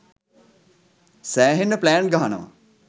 සෑහෙන්න ප්ලෑන් ගහනවා.